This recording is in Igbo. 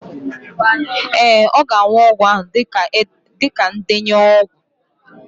Ee, ọ ga-aṅụ ọgwụ ahụ dịka ndenye ọgwụ.